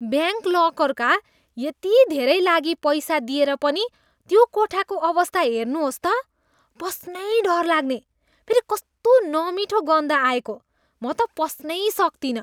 Bank लकरका यति धेरै लागि पैसा दिएर पनि त्यो कोठाको अवस्था हेर्नुहोस् त! पस्नै डर लाग्ने। फेरि कस्तो नमिठो गन्ध आएको! म त पस्नै सक्तिनँ।